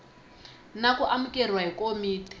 na ku amukeriwa hi komiti